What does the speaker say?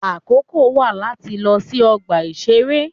Àkókò wà láti lọ sí ọgbà ìṣeré.